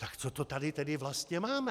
Tak co to tady tedy vlastně máme?